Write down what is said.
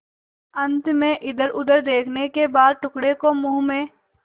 अंत में इधरउधर देखने के बाद टुकड़े को मुँह में